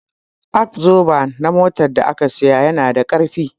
Abzoba na motar da na saya yana da ƙarfi